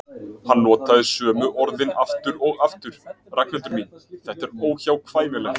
Hann notaði sömu orðin aftur og aftur: Ragnhildur mín, þetta er óhjákvæmilegt.